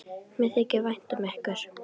Mér þykir vænt um ykkur.